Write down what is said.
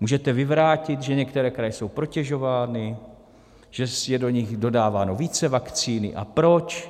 Můžete vyvrátit, že některé kraje jsou protežovány, že je do nich dodáváno více vakcíny, a proč?